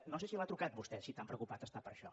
no sé si l’ha trucat vostè si tan preocupat està per això